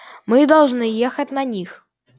мы должны ехать на них